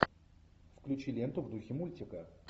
включи ленту в духе мультика